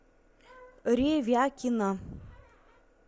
ревякина